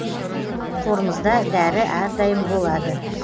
қорымызда дәрі әрдайым болады